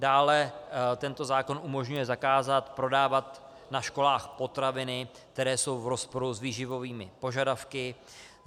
Dále tento zákon umožňuje zakázat prodávat na školách potraviny, které jsou v rozporu s výživovými požadavky.